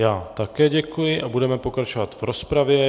Já také děkuji a budeme pokračovat v rozpravě.